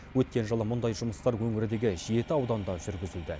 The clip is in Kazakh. өткен жылы мұндай жұмыстар өңірдегі жеті ауданда жүргізілді